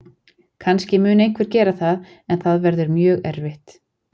Kannski mun einhver gera það en það verður mjög erfitt.